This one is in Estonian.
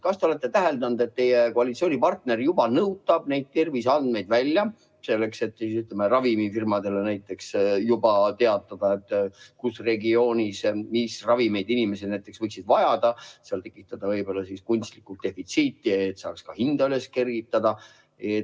Ma küsin nüüd, kas te olete täheldanud, et teie koalitsioonipartner juba nõutab neid terviseandmeid välja, selleks et, ütleme, ravimifirmadele teatada, kus regioonis mis ravimeid inimesed võiksid vajada, ja tekitada kunstlikku defitsiiti, et saaks ka hinda kergitada.